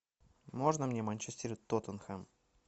можно мне манчестер и тоттенхэм